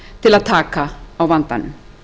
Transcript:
til að taka á vandanum